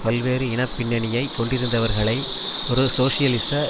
பல்வேறு இன பின்னணியை கொண்டிருந்தவர்களை ஒரு சோசியலிச